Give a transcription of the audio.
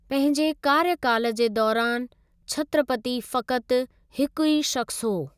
पंहिंजे कार्यकालु जे दौरानि, छत्रपति फ़क़्ति हिकु ई शख़्सु हो।